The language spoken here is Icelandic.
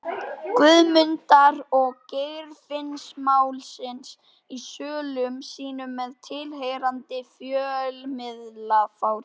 Guðmundar- og Geirfinnsmálsins í sölum sínum með tilheyrandi fjölmiðlafári.